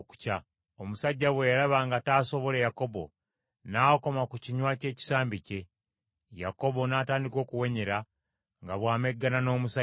Omusajja bwe yalaba nga taasobole Yakobo, n’akoma ku kinywa ky’ekisambi kye. Yakobo n’atandika okuwenyera nga bw’ameggana n’omusajja.